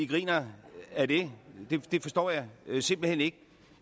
griner ad det det forstår jeg simpelt hen ikke